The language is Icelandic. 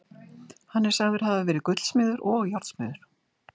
Hann er sagður hafa verið gullsmiður og járnsmiður.